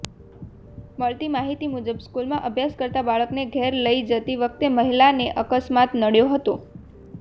મળતી માહિતી મુજબ સ્કૂલમાં અભ્યાસ કરતા બાળકને ઘરે લઈને જતી વખતે મહિલાને અકસ્માત નડ્યો હતો